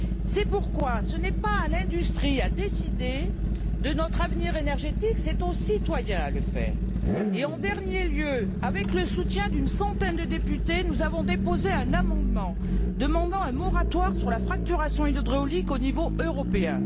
C'est pourquoi ce n'est pas à l'industrie de décider de notre avenir énergétique, mais bien aux citoyens. Enfin, avec le soutien d'une centaine de députés, nous avons déposé un amendement demandant un moratoire sur la fracturation hydraulique au niveau